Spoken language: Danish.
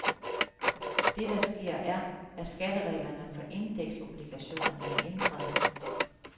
Det, der sker, er, at skattereglerne for indeksobligationerne er ændret.